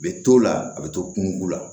A bɛ to o la a bɛ to kungoko la